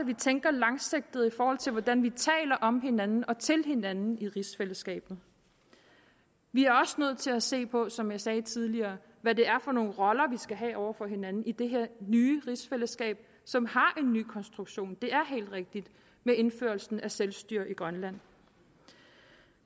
vi tænker langsigtet i forhold til hvordan vi taler om hinanden og til hinanden i rigsfællesskabet vi er også nødt til at se på som jeg sagde tidligere hvad det er for nogle roller vi skal have over for hinanden i det her nye rigsfællesskab som har en ny konstruktion det er helt rigtigt med indførelsen af selvstyre i grønland